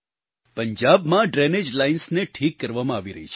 પંજાબમાં drainage lines ને ઠીક કરવામાં આવી રહી છે